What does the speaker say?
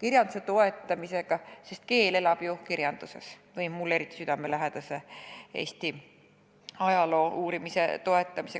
kirjanduse toetamisega – sest keel elab ju kirjanduses – või mulle eriti südamelähedase, Eesti ajaloo uurimise toetamisega.